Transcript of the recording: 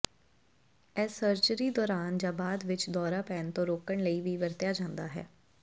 ਇਹ ਸਰਜਰੀ ਦੌਰਾਨ ਜਾਂ ਬਾਅਦ ਵਿੱਚ ਦੌਰਾ ਪੈਣ ਤੋਂ ਰੋਕਣ ਲਈ ਵੀ ਵਰਤਿਆ ਜਾਂਦਾ ਹੈ